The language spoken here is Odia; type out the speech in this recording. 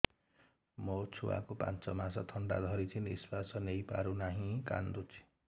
ମୋ ଛୁଆକୁ ପାଞ୍ଚ ମାସ ଥଣ୍ଡା ଧରିଛି ନିଶ୍ୱାସ ନେଇ ପାରୁ ନାହିଁ କାଂଦୁଛି